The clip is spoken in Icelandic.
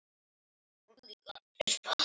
Er það nú víst?